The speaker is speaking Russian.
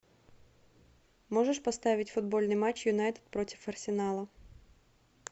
можешь поставить футбольный матч юнайтед против арсенала